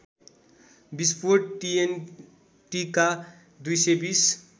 विस्फोट टिएनटिका २२०